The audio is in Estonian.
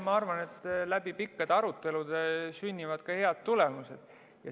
Ma arvan, et läbi pikkade arutelude sünnivad ka head tulemused.